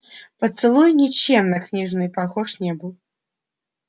поцелуй ничем на книжные похож не был